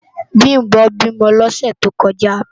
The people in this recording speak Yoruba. Bimbo bímò lòsè tókòjá